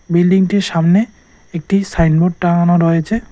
বিল্ডিংটির সামনে একটি সাইনবোর্ড টাঙানো রয়েছে।